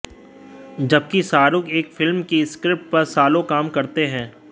जबकि शाहरुख एक फिल्म की स्क्रिप्ट पर सालों काम करते हैं